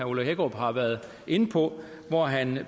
ole hækkerup har været inde på hvor han